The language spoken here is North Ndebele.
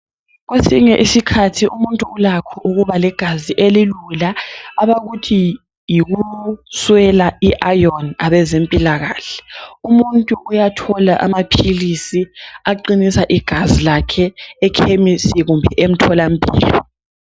Kwesinye isikhathi umuntu ulakho ukuba legazi elilula abakuthi yikuswela i ayoni abezempilakahle. Umuntu uyathola amaphilisi aqinisa igazi lakhe ekhemisi kumbe emtholampilo.